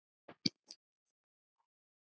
Komdu út!